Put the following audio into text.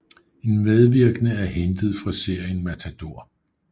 En medvirkende er hentet fra serien Matador